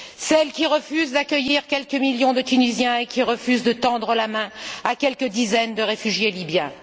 Celle qui refuse d'accueillir quelques millions de Tunisiens et qui refuse de tendre la main à quelques dizaines de réfugiés libyens.